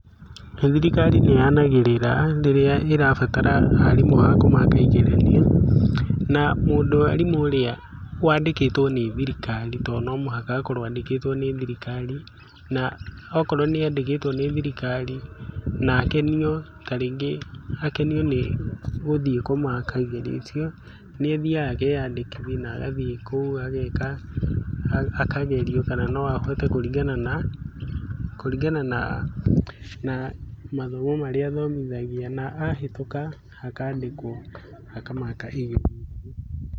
Thirikari nĩ yanagĩrĩra rĩrĩa ĩrabatara arimũ a kũmateithĩrĩria, na mwarimũ ũrĩa wandĩkĩtwo nĩ thirikari tondũ no mũhaka akorwo andĩkĩtwo nĩ thirikari, na akorwo nĩ andĩkĩtwo nĩ thirikari na rĩngĩ akenio nĩ gũthiĩ komaka igetio icio nĩ athiaga akeyandĩkithia agathiĩ kũu ageka kĩgerio kana no ahote kũringana na kũringana na mathomo marĩa athomithagia na ahetũka akandĩkwo akamakaga igerio.